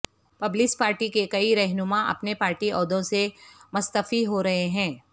Peoples Party کے کئی رہنما اپنے پارٹی عہدوں سے مستعفی ہو رہے ہیں